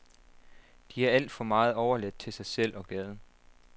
De er alt for meget overladt til sig selv og gaden.